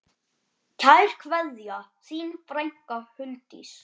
Kær kveðja, þín frænka Huldís.